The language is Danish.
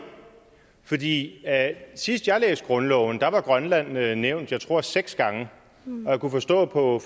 fordi sidst jeg læste grundloven var grønland nævnt jeg tror seks gange og jeg kunne forstå på